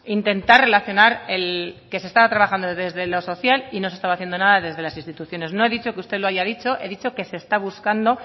intentar relacionar el que se estaba trabajando desde lo social y no se estaba haciendo nada desde las instituciones no he dicho que usted lo haya dicho he dicho que se está buscando